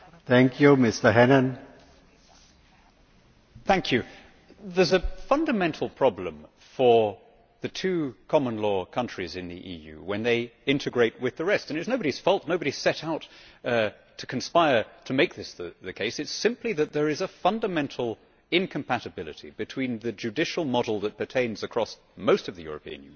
Mr President, there is a fundamental problem for the two common law countries in the EU when they integrate with the rest. It is nobody's fault, nobody has set out to conspire to make this the case, it is simply that there is a fundamental incompatibility between the judicial model that pertains across most of the European Union the